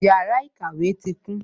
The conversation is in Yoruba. Yàrá ìkàwé tí kún